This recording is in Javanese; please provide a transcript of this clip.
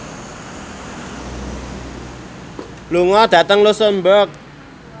lunga dhateng luxemburg